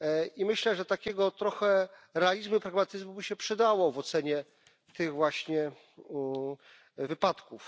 I myślę, że takiego trochę realizmu, pragmatyzmu by się przydało w ocenie tych właśnie wypadków.